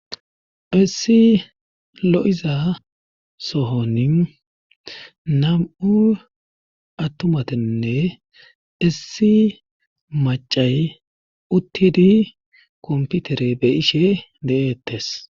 essi lo7iza sohonin nam7u attumatinne issi macay uttidi komputere be ishe de7eettes